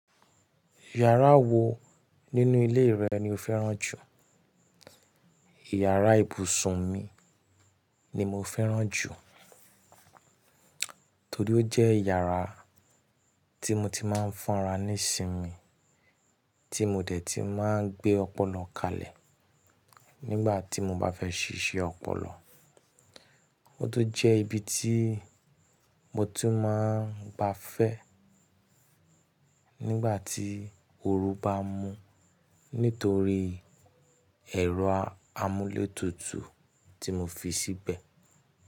Yàrá wo nínú ilé rẹ ni o fẹ́ràn jù? Ìyàrá ibùsùn mi ni mo fẹ́ràn jù, torí ó jẹ́ yàrá tí mo ti máa ń fun ra nísinmi, tí mo dẹ̀ ti máa ń gbé ọpọlọ kalẹ̀ nígbà tí mo bá fẹ́ ṣíṣe ọpọlọ. Ó tún jẹ́ ibi tí mo ti máa ń gbá fẹ́ nígbà tí oru bá mú nítorí ẹ̀rọ amúlétutu tí mo fi síbẹ̀.